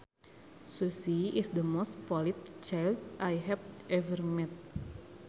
Susie is the most polite child I have ever met